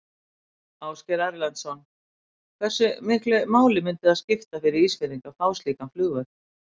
Ásgeir Erlendsson: Hversu miklu máli myndi það skipta fyrir Ísfirðingar að fá slíkan flugvöll?